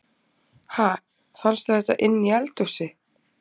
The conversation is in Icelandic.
Ha! Fannstu þetta inni í eldhúsi?